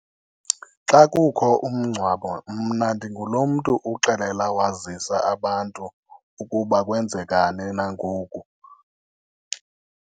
Xa kukho umngcwabo mna ndingulomntu uxelela wazisa abantu ukuba kwenzeka ni na ngoku.